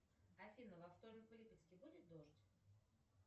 афина во вторник в липецке будет дождь